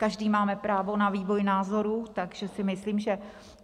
Každý máme právo na vývoj názorů, takže si myslím, že...